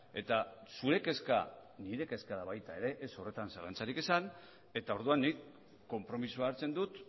eta zure kezka nire kezka da baita ere ez horretan zalantzarik izan eta orduan nik konpromisoa hartzen dut